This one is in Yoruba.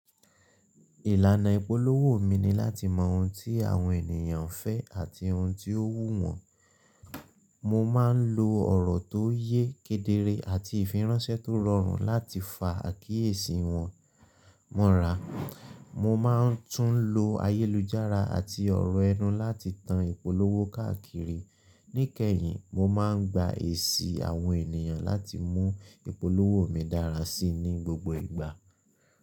Ìlànà ìpolówó mi ni láti mọ ohun tí àwọn ènìyàn fẹ́ àti ohun tí ó wù wọ́n. Mo máa ń lo ọ̀rọ̀ tó yẹ, kedere àti ìfiránsẹ́ tó rọrùn láti fa àkíyèsí wọn mọ́ra. Mo máa ń tún lo ayélujára àti ọ̀rọ̀ ẹnu láti tan ìpolówó káàkiri. Níkẹyìn, mo máa ń gba èsì àwọn ènìyàn láti mú ìpolówó mi dára sí i ní gbogbo ìgbà.